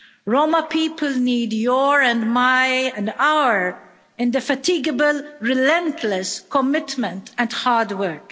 Roma people need your and my and our indefatigable, relentless commitment and hard work.